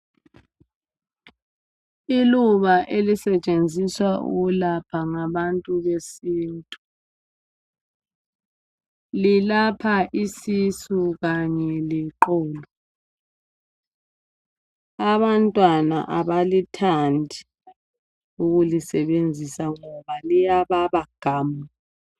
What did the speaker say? Iluba elisetshenziswa ukulapha ngabantu besintu. Lilapha isisu kanye leqolo. Abantwana abalithandi ukulisebenzisa ngoba liyababa gamu.